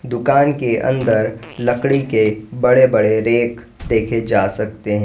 दुकान के अंदर लकड़ी के बड़े बड़े रैक देखे जा सकते है।